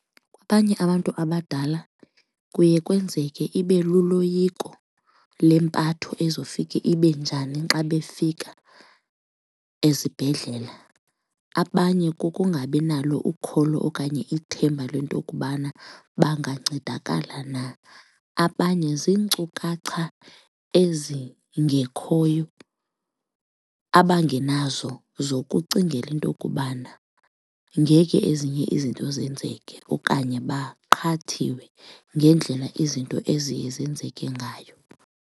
Abanye abantu abadala kuye kwenzeke ibe luloyiko lempatho ezofike ibe njani xa befika ezibhedlele, abanye kukungabi nalo ukholo okanye ithemba lento kubana bangancedakala na. Abanye ziinkcukacha ezingekhoyo abangenazo zokucingela into okubana ngeke ezinye izinto zenzeke okanye baqhathiwe ngendlela izinto eziye zenzeke ngayo.